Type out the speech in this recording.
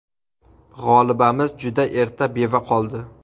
G‘olibamiz juda erta beva qoldi.